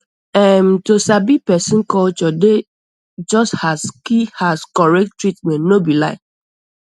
erm to sabi person culture dey just as key as correct treatment no be lie